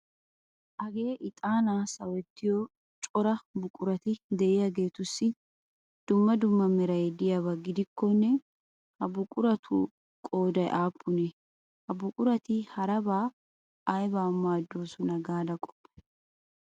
Hagee bixaanaa sawettiyo cora buqurati de'iyageetussi dumma dumma meray de'iyaba gidikkonne ha buquratu qooday aappunee? Ha buqurati harabaa aybaa maaddoosona gaada qoppay?